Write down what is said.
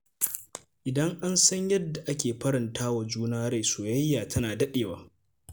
Idan an san yadda ake faranta wa juna rai, soyayya tana daɗewa.